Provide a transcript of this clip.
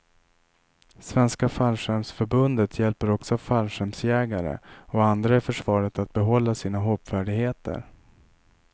Svenska fallskärmsförbundet hjälper också fallskärmsjägare och andra i försvaret att behålla sina hoppfärdigheter.